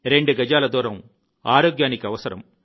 రెండు గజాల దూరం ఆరోగ్యానికి అవసరం